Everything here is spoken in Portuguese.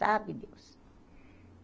Sabe Deus.